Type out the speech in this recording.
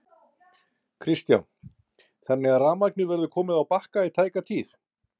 Kristján: Þannig að rafmagnið verður komið á Bakka í tæka tíð?